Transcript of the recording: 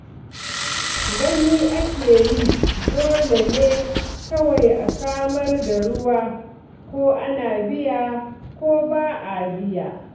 Gani ake yi dole ne kawai a samar da ruwa ko ana biya ko ba a biya.